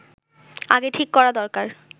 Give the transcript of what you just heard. আগে ঠিক করা দরকার